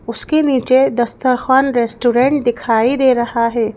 उसके नीचे दस्तरखान रेस्टोरेंट दिखाई दे रहा है।